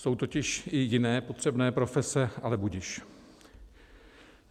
Jsou totiž i jiné potřebné profese, ale budiž.